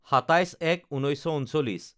২৭/০১/১৯৩৯